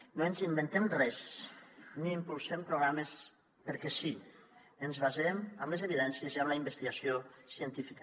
no ens inventem res ni impulsem programes perquè sí ens basem en les evidències i en la investigació científica